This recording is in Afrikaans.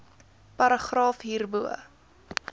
paragraaf hierbo